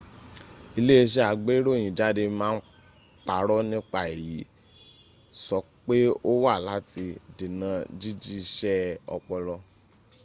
iléẹṣẹ́ agbéròyìnjáde ma ń parọ́ nípa èyí sọ pé ó wà láti dènà jíjí iṣẹ́ ọpọlọ